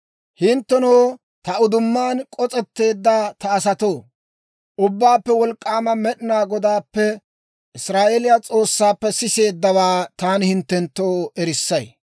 Hinttenoo, ta uddumaan k'os'etteedda ta asatoo, Ubbaappe Wolk'k'aama Med'inaa Godaappe, Israa'eeliyaa S'oossaappe siseeddawaa taani hinttenttoo erissay.